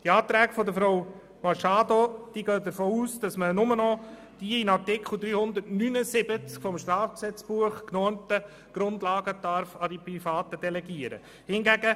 Die Anträge von Frau Machado gehen davon aus, dass man nur noch die in Artikel 379 des Strafgesetzbuchs genormten Grundlagen an Private delegieren darf.